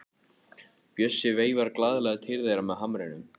Bjössi veifar glaðlega til þeirra með hamrinum.